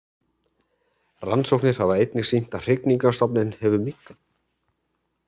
Rannsóknir hafa einnig sýnt að hrygningarstofninn hefur minnkað.